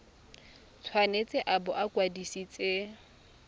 tshwanetse a bo a kwadisitswe